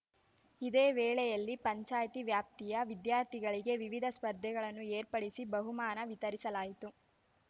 ಇದೇ ವೇಳೆಯಲ್ಲಿ ಪಂಚಾಯ್ತಿ ವ್ಯಾಪ್ತಿಯ ವಿದ್ಯಾರ್ಥಿಗಳಿಗೆ ವಿವಿಧ ಸ್ಪರ್ಧೆಗಳನ್ನು ಏರ್ಪಡಿಸಿ ಬಹುಮಾನ ವಿತರಿಸಲಾಯಿತು